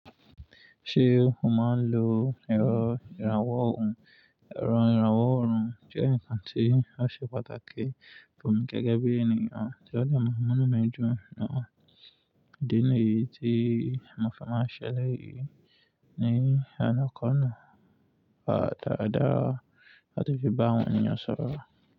Ṣé o máa ń lo ẹ̀rọ ìrànwọ́ ohun? Ẹ̀rọ ìrànwọ́ ohun jẹ́ ǹkan tí ó ṣe pàtàkì fún mi gẹ́gẹ́ bí ènìyàn tí ó le mú mọ́nròmóràn méjì nù. Ìdí ni yí tí mo fẹ́ máa ṣeléyìí ní àná kan náà. Pa dàda láti fi bá àwọn ènìyàn sọ̀rọ̀